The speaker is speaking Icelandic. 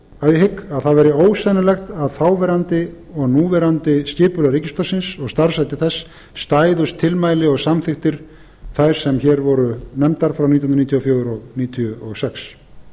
að ég hygg að það væri ósennilegt að þáverandi og núverandi skipulag ríkisútvarpsins og starfshættir þess stæðust tilmæli og samþykktir þær sem hér voru nefndar frá nítján hundruð níutíu og fjögur og nítján hundruð níutíu og sex